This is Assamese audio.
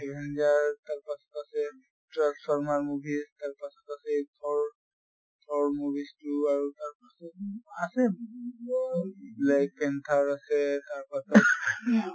avenger তাৰ পাছত আছে transformer movie, তাৰ পাছত আছে thor, thor movies তো তাৰ পাছত আৰু আছে black panther আছে তাৰ পাছত ing